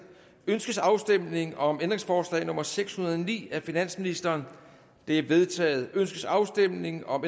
ønskes afstemning om ændringsforslag nummer seks hundrede og ni af finansministeren det er vedtaget ønskes afstemning om